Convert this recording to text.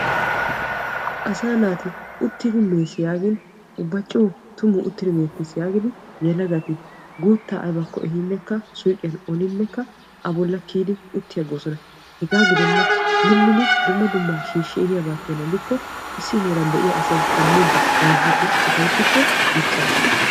Asaa naati uttidi mes yaagin ubba coo uttidi meetees yaagidi yelagati guuttaa aybakko ehhinnekka suuqiyan olinekka a bola kiyidi utti agoosona. hegaa gidenna minidi dumma dummabaa shiishi ehiyaaba keena gidikko issi heeran de'iya asay shamiidi bayzziidi upayttikko dicaasa.